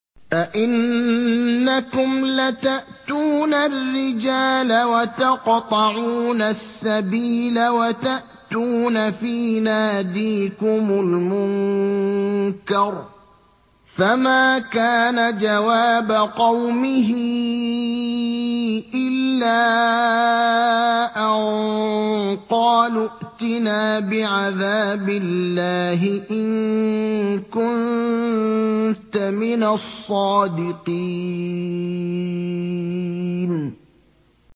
أَئِنَّكُمْ لَتَأْتُونَ الرِّجَالَ وَتَقْطَعُونَ السَّبِيلَ وَتَأْتُونَ فِي نَادِيكُمُ الْمُنكَرَ ۖ فَمَا كَانَ جَوَابَ قَوْمِهِ إِلَّا أَن قَالُوا ائْتِنَا بِعَذَابِ اللَّهِ إِن كُنتَ مِنَ الصَّادِقِينَ